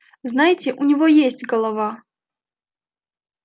знаете у него есть голова